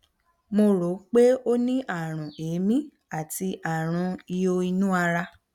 mo rò pé ó ní àrùn èémí àti àrùn ìhò inú ara